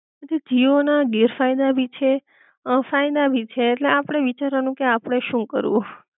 જો જીઓ ના ગેરફાયદા ભી છે અ ફાયદા ભી છે ઍટલે આપડે વિચારવાનું કે આપડે શું કરવું